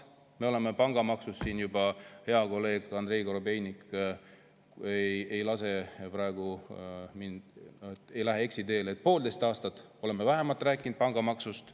Meie oleme pangamaksust siin rääkinud – hea kolleeg Andrei Korobeinik ei lase praegu mul eksiteele – juba poolteist aastat vähemalt.